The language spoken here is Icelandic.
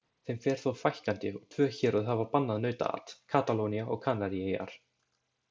Þeim fer þó fækkandi og tvö héröð hafa bannað nautaat, Katalónía og Kanaríeyjar.